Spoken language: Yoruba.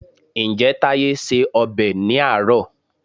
Ǹjẹ́ Táyé se ọbẹ̀ ní àárọ̀?